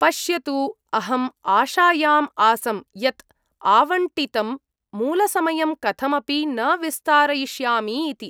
पश्यतु, अहं आशायाम् आसं यत् आवण्टितं मूलसमयं कथमपि न विस्तारयिष्यामि इति।